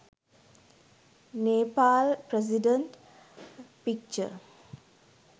Nepal president picture